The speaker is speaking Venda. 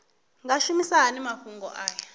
nga shumisa hani mafhumgo aya